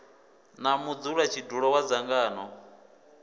na mudzula tshidulo wa dzangano